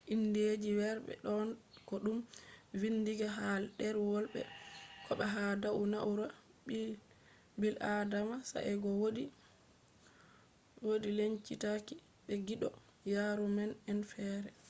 indeji weerbe don ko dum vindinga ha derwol be/kobo ha dau na'ura bil'adama sae'go wodi lencitaaki be giddo yaruuma'en fere